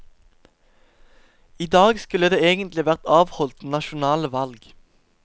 I dag skulle det egentlig vært avholdt nasjonale valg.